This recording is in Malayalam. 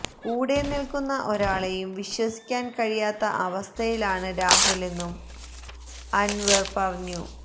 കൂടെ നില്ക്കുന്ന ഒരാളെയും വിശ്വസിക്കാന് കഴിയാത്ത അവസ്ഥയിലാണ് രാഹുലെന്നും അന്വര് പറയുന്നു